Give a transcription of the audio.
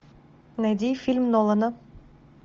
найди фильм нолана